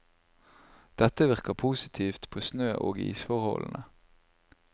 Dette virker positivt på snø og isforholdene.